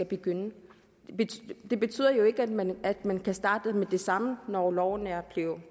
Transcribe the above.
begynde det betyder jo ikke at man at man kan starte med det samme når loven er blevet